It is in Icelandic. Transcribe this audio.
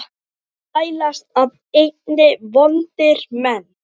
tælast af einni vondir menn